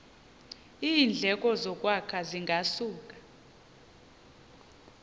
iindleko zokwakha zingasuka